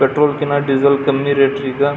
petrol ಕಿನ್ನಾ diesel ಕಮ್ಮಿ rate ರಿಗಾ --